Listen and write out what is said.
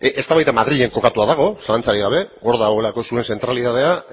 eztabaida madrilen kokatua dago zalantzarik gabe hor dagoelako zuen zentralidadea